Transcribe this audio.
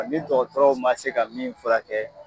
Nga ni dɔgɔtɔrɔw ma se ka min furakɛ